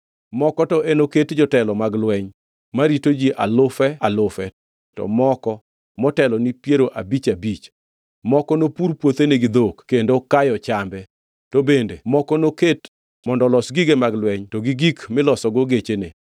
Moko to enoket jotelo mag lweny marito ji alufe alufe to moko motelo ni piero abich abich, moko nopur puothene gi dhok kendo kayo chambe, to bende moko noket mondo olos gige mag lweny to gi gik milosogo gechene.